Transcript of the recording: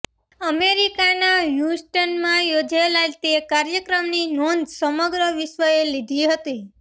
અમેરિકાના હ્યુસ્ટનમાં યોજાયેલાં તે કાર્યક્રમની નોંધ સમગ્ર વિશ્વએ લીધી હતી